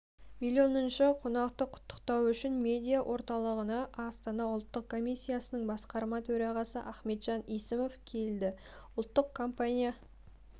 миллионыншы қонақты құттықтау үшін медиа-орталығына астана ұлттық компаниясының басқарма төрағасы ахметжан есімов келді ұлттық компания